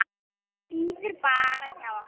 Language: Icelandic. Bíður bara hjá okkur!